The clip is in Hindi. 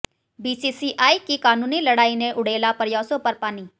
बीसीसीआई की कानूनी लड़ाई ने उड़ेला प्रयासों पर पानी